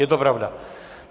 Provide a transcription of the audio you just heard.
Je to pravda.